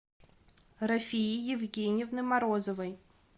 рафии евгеньевны морозовой